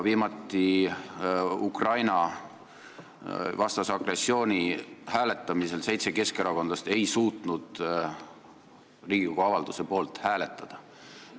Viimati ei suutnud seitse keskerakondlast Riigikogu Ukraina-vastase agressiooni avalduse poolt hääletada.